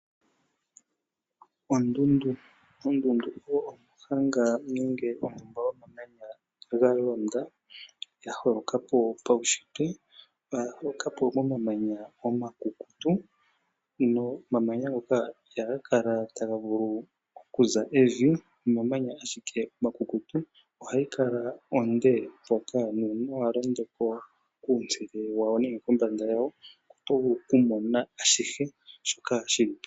Ondundu, ondundu oyo omuhanga nenge ondumba yomamanya galonda, yaholokapo paushitwe, oyaholokapo momamanya omakukutu, nomamanya ngoka iha ga kala ta ga vulu okuza evi, omamanya ashike omakukutu, ohayi kala onde nuuna walondoko kombanda yayo oto vulu okumona ashihe shoka shili po.